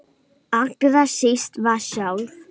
Allra síst við sjálf.